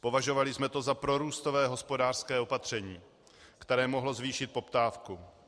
Považovali jsme to za prorůstové hospodářské opatření, které mohlo zvýšit poptávku.